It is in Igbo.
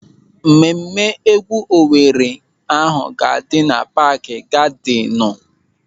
Mmemme égwú Owere ahụ ga-adị na paaki gadịnụ.